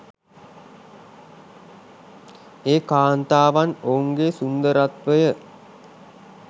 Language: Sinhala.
ඒ කාන්තාවන් ඔවුන්ගේ සුන්දරත්වය